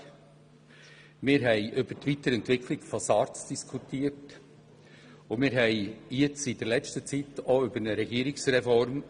Wir haben über die Weiterentwicklung von SARZ diskutiert und in der letzten Zeit auch über eine Regierungsreform.